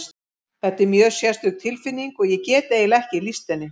Þetta er mjög sérstök tilfinning og ég get eiginlega ekki lýst henni.